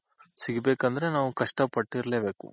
ಸಿಗ್ಬೇಕಂದ್ರೆ ನಾವ್ ಕಷ್ಟ ಪಟ್ಟಿರ್ಲೆಬೇಕು